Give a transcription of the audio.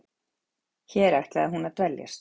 Hér ætlaði hún að dveljast.